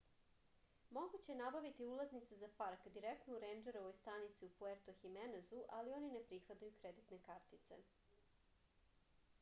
moguće je nabaviti ulaznice za park direktno u rendžerovoj stanici u puerto himenezu ali oni ne prihvataju kreditne kartice